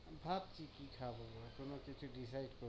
ভাবছি কি খাবো এখনো কিছু decide